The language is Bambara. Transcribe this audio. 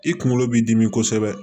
I kunkolo b'i dimi kosɛbɛ